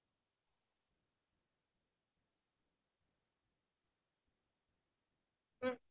plastic ৰ chips ৰ packet য়ে খাইছে বা সেইটো ৰাস্তাতে পেলাই থই দিছে